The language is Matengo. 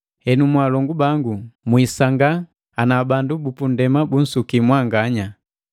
Henu, mwaalongu bangu, mwisangaa ana bandu bupunndema bunsuki mwanganya.